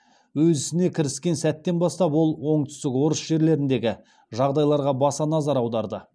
өз ісіне кіріскен сәттен бастап ол оңтүстік орыс жерлеріндегі жағдайларға баса назар аударды